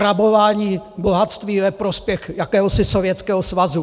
Rabování bohatství ve prospěch jakéhosi Sovětského svazu!